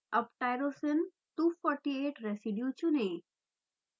अब tyrosine 248 residue चुनें